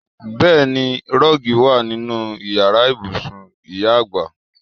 Bẹẹni, rọ́ọ̀gì wa nínú Ìyàrá ibùsùn ìyá àgbà.